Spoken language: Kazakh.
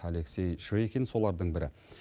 алексей швейкин солардың бірі